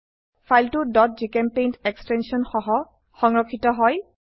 ফাইলটো gchempaint extension সহ সংৰক্ষিত হয়